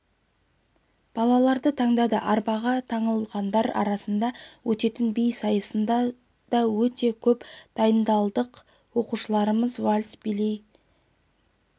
балаларды таңдады арбаға таңылғандар арасында өтетін би сайысына да көп дайындалдық оқушыларымыз вальс билейді өте